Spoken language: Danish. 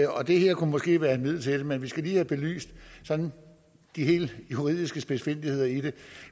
og det her kunne måske være et middel til det men vi skal lige have belyst de sådan helt juridiske spidsfindigheder i det